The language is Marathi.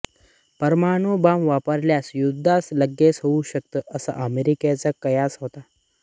परमाणुबॉम्ब वापरल्यास युद्धांत लगेच होऊ शकेल असा अमेरिकेचा कयास होता